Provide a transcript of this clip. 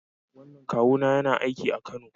Wannan kawuna yana aiki a Kano